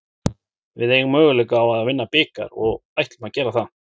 Við eigum möguleika á að vinna bikar og ætlum að gera það.